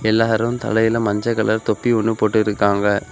எல்லாரு தலைல மஞ்ச கலர் தொப்பி ஒன்னு போட்டுருக்காங்க.